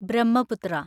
Brahmaputra